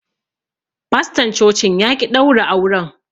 Faston cocin ya ƙi daura auren yace sai an kawo shaidar gwajin jini daga asibiti.